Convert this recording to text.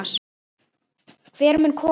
Hver mun koma?